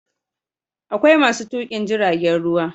Akwai masu tukin jiragen ruwa